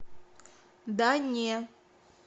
да не